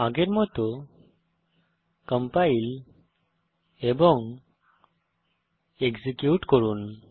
আগের মত কম্পাইল এবং এক্সিকিউট করুন